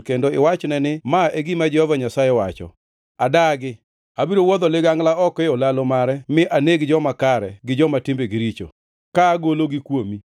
kendo iwachne ni ma e gima Jehova Nyasaye wacho: ‘Adagi. Abiro wuodho ligangla oko e olalo mare mi aneg joma kare gi joma timbegi richo, ka agologi kuomi.